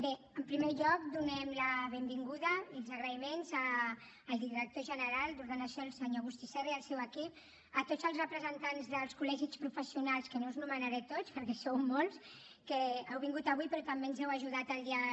bé en primer lloc donem la benvinguda i els agraïments al director general d’ordenació el senyor agustí serra i el seu equip a tots els representants dels col·legis professionals que no us anomenaré a tots perquè sou molts que heu vingut avui però també ens heu ajudat al llarg